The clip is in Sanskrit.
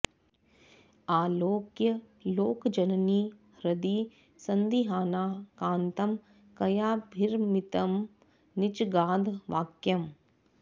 आलोक्य लोकजननी हृदि सन्दिहाना कान्तं कयाभिरमितं निजगाद वाक्यम्